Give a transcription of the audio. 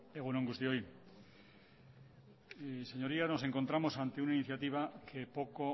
egunon guztioi señorías nos encontramos ante una iniciativa que poco